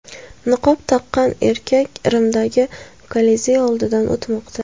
Niqob taqqan erkak Rimdagi Kolizey oldidan o‘tmoqda.